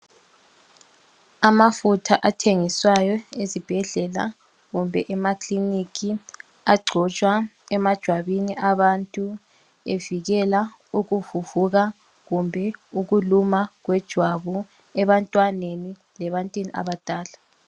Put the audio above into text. Amafutha athengiswayo ezibhedlela kumbe emakilinika agcotshwa emajwabini abantu evikela ukuvuvuka kumbe ukuluma kwejwabu ebantwaneni lebantwini abadala.